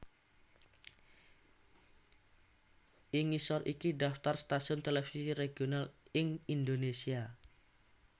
Ing ngisor iki daftar stasiun televisi regional ing Indonésia